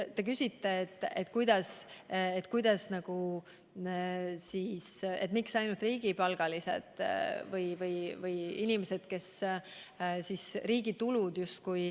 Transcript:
Te küsite, miks ainult riigipalgalised kannatavad.